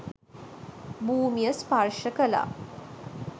භූමිය ස්පර්ශ කළා.